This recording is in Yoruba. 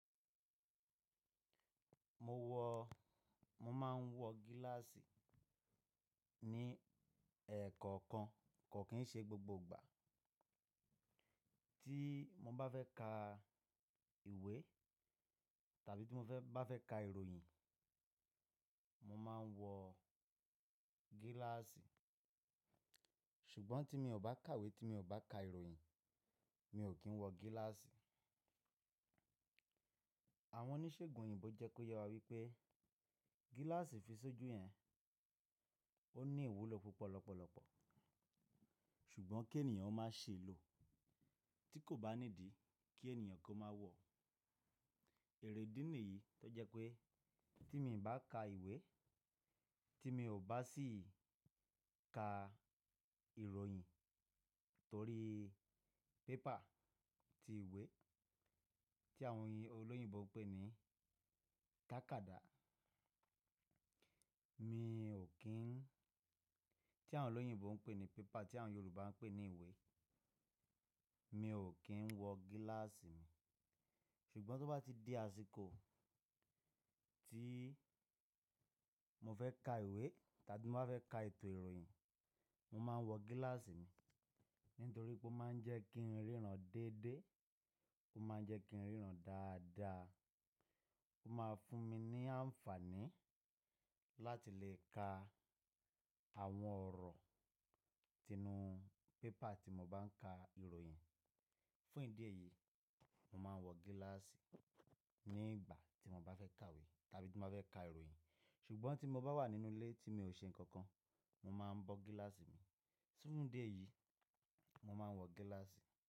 Mo wọ, mo máa ń wọ gíláàsì ní ẹ̀ẹ̀kọ̀kan, kò kín ṣe gbogbo gbà. Tí mo bá fẹ́ ka ìwé tàbí tí mo fẹ́ bá fẹ́ ka ìròyìn, mo máa ń wọ gíláàsì. Ṣùgbọ́n tí mi ò bá kàwé, tí mi ò bá ka ìròyìn, mi ò kí ń wọ gíláàsì. Àwọn oníṣègùn òyìnbó jẹ́ kó yẹ wá wípé gíláàsì fi sójú yẹn ó ní ìwúlò púpọ̀ lọ́pọ̀lọpọ̀. Ṣùgbọ́n kí ènìyàn ó máa ṣe lò tí kò bá ní idí kí ènìyàn kó máa wọ̀. Èrè idí ní yìí tó jẹ́ pé tí mi ò bá ka ìwé, tí mi ò bá sì ka ìròyìn torí pépà ti ìwé tí àwọn oyin òloyìnbó ń pè ní tákádà. Mi ò kín, tí àwọn olóyìnbó ń pè ní paper tí àwọn Yorùbá ń pè ní ìwé. Mi ò kí ń wọ gíláàsì mi. Ṣùgbọ́n tó bá ti dé àsìkò tí mo fẹ́ ka ìwé tàbí n maa fẹ́ ka ètò ìròyìn, mo máa ń wọ gíláàsì mi. Nítorí pé ó máa ń jẹ́ kí n ríran déédé, ó máa ń jẹ́ kí n ríran dáadáa. Ó máa fún mi ní àǹfààní láti lè ka àwọn ọ̀rọ̀ tinú paper tí mo bá ń ka ìròyìn. Fún ìdí èyí, mo máa ń wọ gíláàsì nígbà tí mo bá fẹ́ kàwé tàbí tí mo bá fẹ́ ka ìròyìn. Ṣùgbọ́n tí mo bá wà nínú ilé tí mi ò ṣe nǹkan kan, mo máa bọ́ gíláàsì mi. Fún ìdí èyí, mo máa ń wọ gíláàsì.